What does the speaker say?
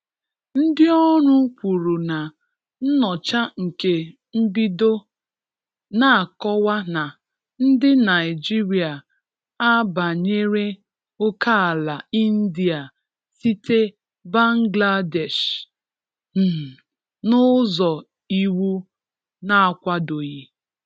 Ndị ọrụ kwuru na nnyocha nke mbido na-akọwa na ndị Naịjirịa a banyere ókèala India site Bangladesh um n' ụzọ iwu n'akwadoghi.